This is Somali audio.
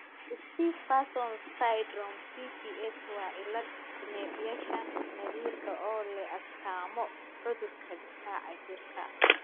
Stiff person syndrome (SPS) waa cillad neerfayaasha naadirka ah oo leh astaamo cudurka difaaca jirka.